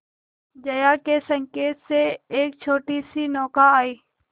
जया के संकेत से एक छोटीसी नौका आई